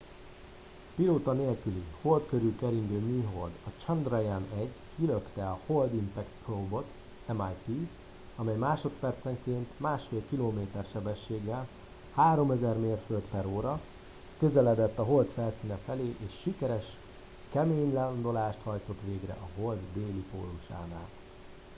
a pilóta nélküli hold körül keringő műhold a chandrayaan-1 kilökte a hold impact probe-ot mip amely másodpercenként 1,5 kilométer sebességgel 3000 mérföld/óra közeledett a hold felszíne felé és sikeres kemény landolást hajtott végre a hold déli pólusánál